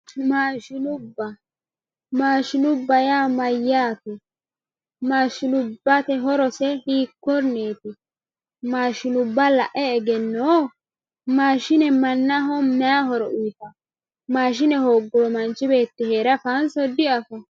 Maashinubba, maashinubba yaa mayate, maashinubbate horose hiikonetti, maashinubba la'e eggenoo, maashine manaho mayi horo uuyitawo, mashine hooguro manchi beeti heere afawo'nso di, afawo